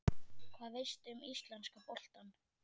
Hvað veistu um íslenska boltann?